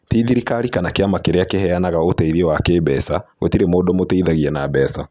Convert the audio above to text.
Tĩ thirikari kana kĩama kĩrĩakiveanaga ũteithio wa kĩĩmbeca, gũtirĩ mũndũ ũmũteithagia na mbeca.